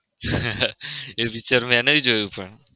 એ picture મેં નઈ જોયું પણ.